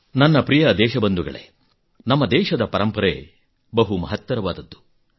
ನನ್ನ ಪ್ರಿಯ ದೇಶಬಂಧುಗಳೇ ನಮ್ಮ ದೇಶದ ಪರಂಪರೆ ಬಹು ಮಹತ್ತರವಾದದ್ದು